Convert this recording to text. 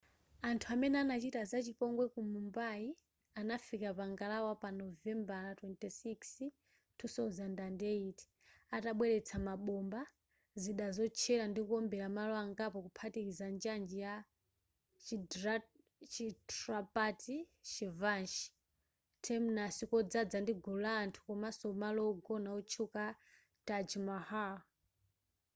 anthu amene anachita za chipongwe ku mumbai anafika pa ngalawa pa novembara 26 2008 atabweretsa mabomba zida zotchera ndikuombera malo angapo kuphatikiza njanji ya chhatrapati shivaji terminus kodzadza ndi gulu la anthu komanso malo wogona otchuka a taj mahal